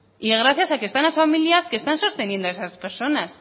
y gracias a que están las familias que están sosteniendo esas personas